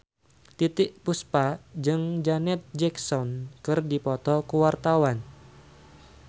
Titiek Puspa jeung Janet Jackson keur dipoto ku wartawan